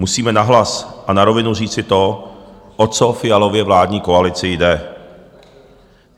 Musíme nahlas a na rovinu říci to, o co Fialově vládní koalici jde.